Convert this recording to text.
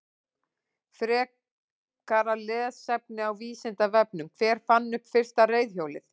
Frekara lesefni á Vísindavefnum: Hver fann upp fyrsta reiðhjólið?